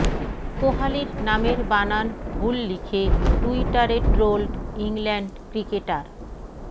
কোহালির নামের বানান ভুল লিখে টুইটারে ট্রোলড ইংল্যান্ড ক্রিকেটার